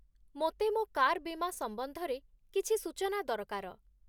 ମୋତେ ମୋ କାର୍ ବୀମା ସମ୍ବନ୍ଧରେ କିଛି ସୂଚନା ଦରକାର।